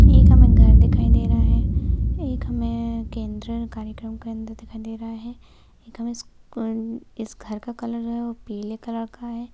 एक हमे घर दिखाई दे रहा है एक हमे केंद्र कार्यक्रम दिखाई दे रहा है। एक हमे इस्क इस घर का कलर पीले कलर का है।